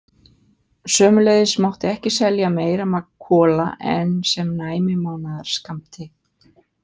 Sömuleiðis mátti ekki selja meira magn kola en sem næmi mánaðarskammti.